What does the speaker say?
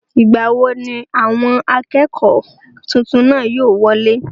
ìgbà wo ni àwọn akẹ́kọ̀ọ́ tuntun náà yóò wọlé?